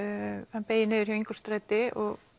hann beygir niður hjá Ingólfsstræti